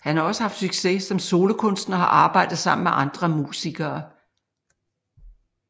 Han har også haft succes som solokunstner og har arbejdet sammen med andre musikere